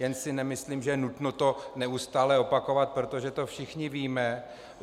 Jen si nemyslím, že je nutno to neustále opakovat, protože to všichni víme.